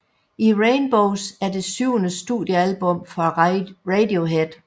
In Rainbows er det syvende studiealbum fra Radiohead